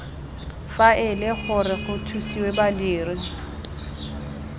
faele gore go thusiwe badiri